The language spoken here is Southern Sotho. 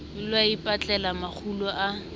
ho ya ipatlela makgulo a